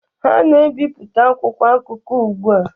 Ha na-ebipụta akwụkwọ akụkọ ugbu a